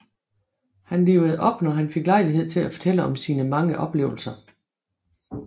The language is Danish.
Han livede op når han fik lejlighed til at fortælle om sine mange oplevelser